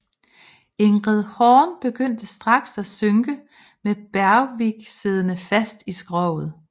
Ingrid Horn begyndte straks at synke med Bergvik siddende fast i skroget